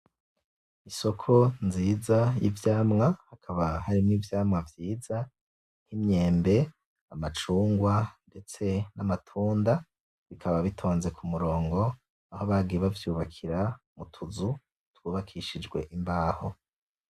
Isoko nziza y'ivyamwa hakaba hari ivyamwa vyiza, nk'imyembe, amacungwa, ndetse n'amatunda bikaba bitonze kumurongo aho bagiye bavyubakira utuzu twubakishijwe imbaho.